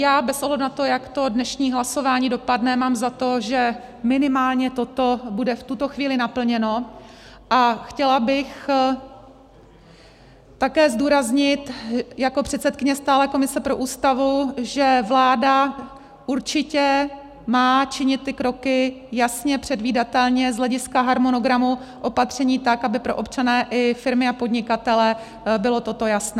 Já, bez ohledu na to, jak to dnešní hlasování dopadne, mám za to, že minimálně toto bude v tuto chvíli naplněno, a chtěla bych také zdůraznit jako předsedkyně stálé komise pro Ústavu, že vláda určitě má činit ty kroky jasně, předvídatelně z hlediska harmonogramu opatření, tak aby pro občany i firmy a podnikatele bylo toto jasné.